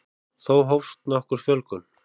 þá hófst nokkur fjölgun